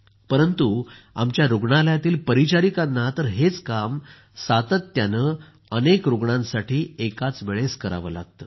परंतु आमच्या रूग्णालयातील परिचारिकांना तर हेच काम सातत्यानं अनेक रूग्णांसाठी एकाचवेळेस करावं लागतं